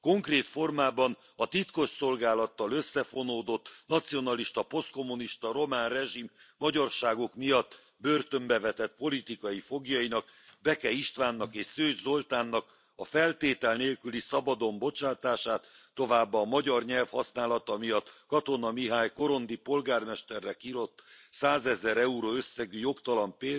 Konkrét formában a titkosszolgálattal összefonódott nacionalista, posztkommunista román rezsim magyarságuk miatt börtönbe vetett politikai foglyainak Beke Istvánnak és Szőcs Zoltánnak a feltétel nélküli szabadon bocsátását, továbbá a magyar nyelv használata miatt Katona Mihály korondi polgármesterre kirótt 100 ezer euró összegű jogtalan